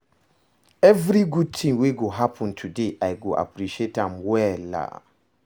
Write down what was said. Evri gud tin wey go happen today, I go appreciate am well.